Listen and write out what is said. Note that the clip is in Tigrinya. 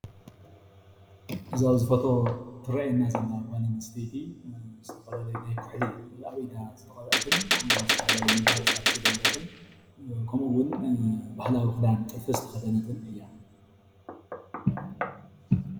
እዚ ኣብዚ ፎቶ እትረአየና ዘላ ጓል አንስተይቲ ዝተፈላለዩ ናይ ኩሕሊ ኣብ ኢዳ ዝተቀብአትን ዝተፈላልዩ መጋየጽታት ዝገበረትን ከምኦ ውን ባህላዊ ክዳን ጥልፊ ዝተከደነትን እያ።